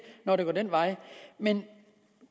når det går den vej men